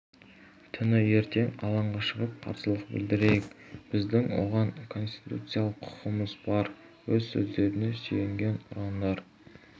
түні ертең алаңға шығып қарсылық білдірейік біздің оған конституциялық құқымыз бар өз сөздеріне сүйенген ұрандар